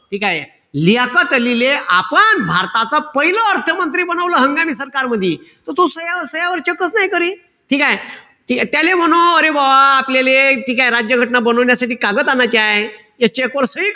ठीकेय? लियाकत अलीले आपण भारताचा पाहिलं अर्थ मंत्री बनवलं हंगामी सरकार मधी. त तो सह्या सह्यावर check नाई करी. ठीकेय? त्याले म्हणो अरे बा आपल्याले ठीकेय? राज्य घटना बनवण्यासाठी कागद आण्याचे हाय. ते check वर सही,